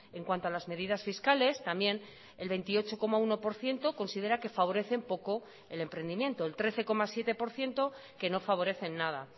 en cuanto a las medidas fiscales también el veintiocho coma uno por ciento considera que favorecen poco el emprendimiento el trece coma siete por ciento que no favorecen nada